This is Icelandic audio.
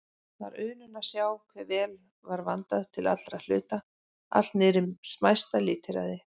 Var unun að sjá hve vel var vandað til allra hluta, allt niðrí smæsta lítilræði.